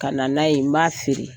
Ka na n'a ye n b'a feere,